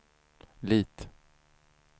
Lit